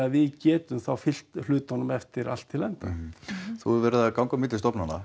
við getum fylgt hlutunum eftir allt til enda þú hefur verið að ganga á milli stofnanna